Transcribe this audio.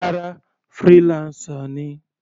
Rárá, freelancer ni.